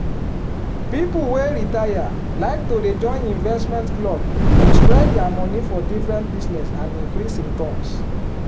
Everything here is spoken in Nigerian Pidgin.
people wey retire like to dey join investment club to spread their money for different business and increase returns.